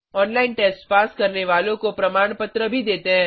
online test pass करने वालों को प्रमाणपत्र भी देते हैं